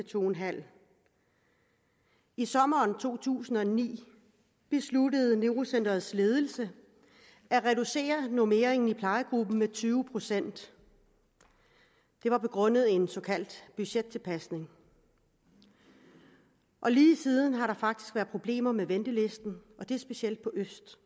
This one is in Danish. to en halv i sommeren to tusind og ni besluttede neurocenterets ledelse at reducere normeringen i plejegruppen med tyve procent det var begrundet i en såkaldt budgettilpasning og lige siden har der faktisk været problemer med ventelisten og det er specielt i øst